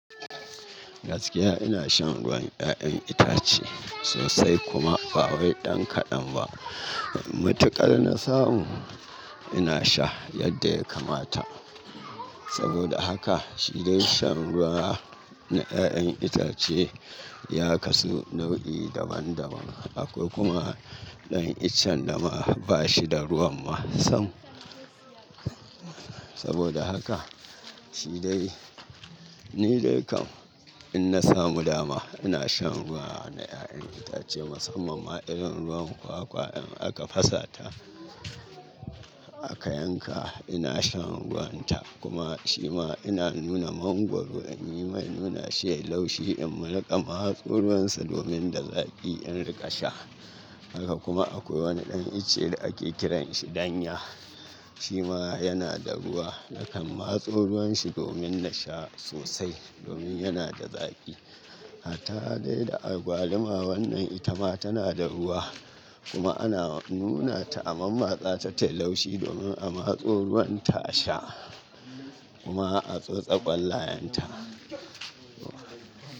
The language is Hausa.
Gaskiya ina shan ruwan 'ya'yan itace sosai kuma ba wai ɗan kaɗan ba. Mutuƙar na samu ina sha yadda ya kamata. Saboda haka, shi dai shan ruwa na 'ya'yan itace ya kasu nau'i daban daban. Akwai kuma ɗan iccen da ma bashi da ruwan masan. Saboda haka, shi dai ni dai kam in na samu dama ina shan ruwa na 'ya'yan itace musamman ma irin ruwan kwakwa in aka fasata aka yanka ina shan ruwan ta kuma shi ma ina nuna mangwaro in yi mai nuna she laushi in riƙa matso ruwansu domin da zaƙi in riƙa sha. Haka kuma akwai wani ɗan ice da ake kiran shi danya. Shi ma yana da ruwa nakan matso ruwan shi domin na sha sosai domin yana da zaƙi. Hata dai da agwaluma wannan ita ma tana da ruwa kuma ana nuna ta a man matsa ta tayi laushi domin a matso ruwanta a sha kuma a tsotse ƙwallayen ta.